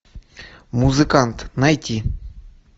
музыкант найди